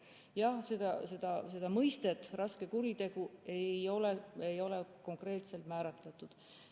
Jah, mõistet "raske kuritegu" ei ole konkreetselt määratletud.